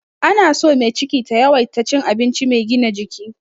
Ana son mai ciki ta yawaita cin abinci mai gina jiki.